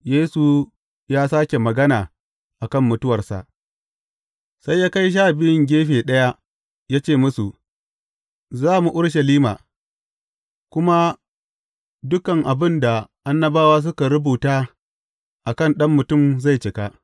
Yesu ya sāke magana a kan mutuwarsa Sai ya kai Sha Biyun gefe ɗaya, ya ce musu, Za mu Urushalima, kuma dukan abin da annabawa suka rubuta a kan Ɗan Mutum zai cika.